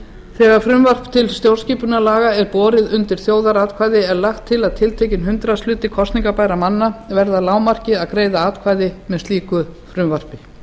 þegar frumvarp til stjórnarskipunarlaga er borið undir þjóðaratkvæði er lagt til að tiltekinn hundraðshluti kosningarbærra manna verði að lágmarki að greiða atkvæði með slíku frumvarpi